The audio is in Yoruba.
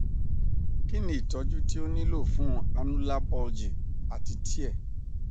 kini itọju ti o nilo fun annular bulging ati tear